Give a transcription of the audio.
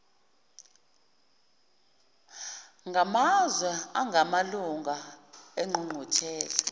ngamazwe angamalunga engqungquthela